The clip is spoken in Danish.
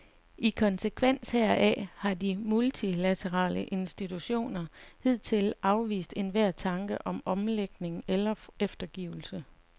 I konsekvens heraf har de multilaterale institutioner hidtil afvist enhver tanke om omlægning eller eftergivelse.